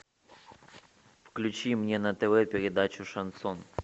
включи мне на тв передачу шансон